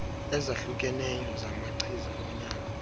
ezahlukeneyo zamachiza onyango